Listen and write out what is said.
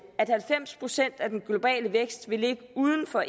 at halvfems procent af den globale vækst vil ligge uden for